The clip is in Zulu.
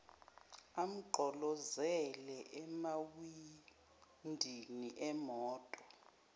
amgqolozele emawindini emoto